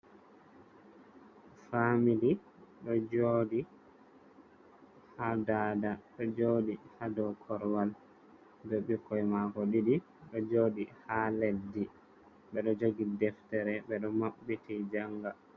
Famili ɗo jooɗi ha daada ɗo jooɗi ha dou korwal be bikkoi mako ɗiɗi ɗo jooɗi ha leddi ɓe ɗo jogi deftere ɓe ɗo maɓɓiti jaanga.